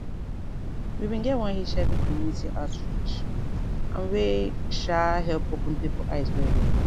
we bin get one hiv community outreach and wey um help open pipo eyes well well